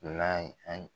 N'a ye an